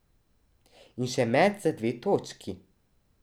In še met za dve točki.